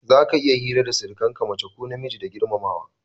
Za ka iya hira da sirikan ka mace ko namiji da girmamawa.